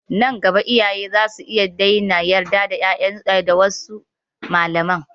Nan gaba iyaye za su iya daina yarda da wasu malamai.